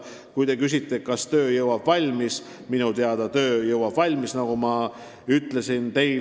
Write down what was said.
Kui te küsite, kas töö saadakse selleks ajaks valmis, siis minu teada saadakse valmis.